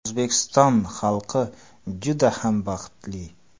O‘zbekiston xalqi juda ham baxtli.